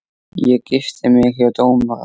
Ég gifti mig hjá dómara.